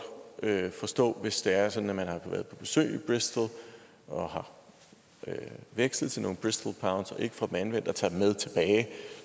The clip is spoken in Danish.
forstå hvis det er sådan at man har været på besøg i bristol og har vekslet til nogle bristol pounds og ikke får dem anvendt og tager dem med tilbage